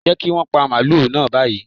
Jẹ́ kí wọn pa màálù náà báyìí.